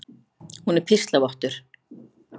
Hún er píslarvottur.